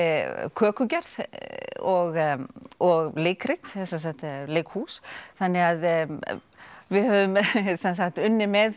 kökugerð og og leikrit eða leikhús þannig við höfum unnið með